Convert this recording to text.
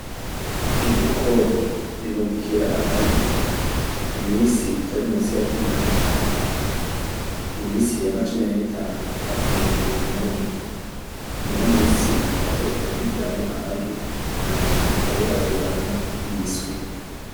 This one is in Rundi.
Inkoko ibundikira amagi, iminsi itari munsi ya cumi n'tanu. Iminsi irenga cumi n'itanu hafi mirongo ibiri numwe niyo minsi inkoko ibundikiramwo amagi munyuma ikaberaguramwo imiswi.